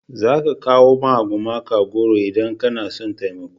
za ka kawo ma gumaka goro in kana son taimako